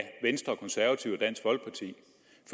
venstre konservative